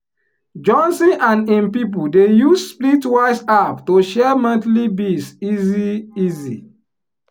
johnson and him people dey use splitwise app to share monthly bills easy easy.